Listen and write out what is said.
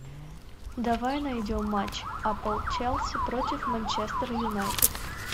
давай найдем матч апл челси против манчестер юнайтед